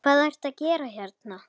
Hvað ertu að gera hérna?